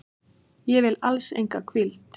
Ég vil alls enga hvíld.